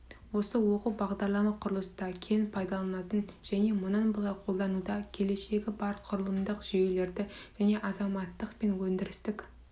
осы оқу бағдарлама құрылыста кең пайдаланатын және мұнан былай қолдануда келешегі бар құрылымдық жүйелерді және азаматтық пен өндірістік